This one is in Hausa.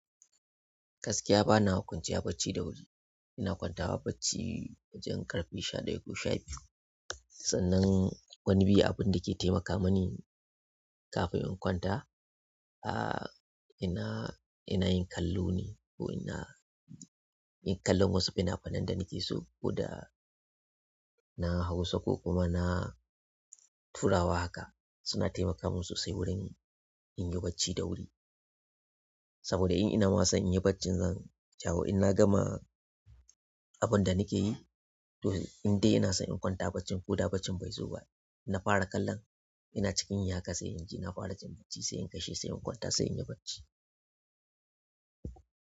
Gaskiya bana kwance barci da wuri. Ina kwanta wa bacci wajen ƙarfe sha ɗaya ko sha biyu. Sannan wani bi abun da ke taimaka mini kafin in kwanta, ah, ina, ina yin kallo ne ko ina yin kallon wasu fina-finan da nake so ko da na Hausa ko kuma na turawa haka, suna taimaka min sosai wurin in yi bacci da wuri. Saboda in ina masan in yi barcin nan in dawo in na gama abun da nake yi. To, in dai ina so in kwanta bacci ko da bacci bai zo ba, na fara kallon ina cikin haka sai in ji na fara jin bacci sai in kai shi sai in kwanta sai in yi bacci.